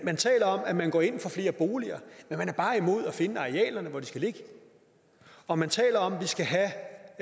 man taler om at man går ind for flere boliger men man er bare imod at finde arealerne hvor de skal ligge og man taler om at vi skal have